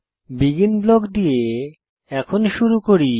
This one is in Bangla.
বেগিন ব্লক দিয়ে এখন শুরু করি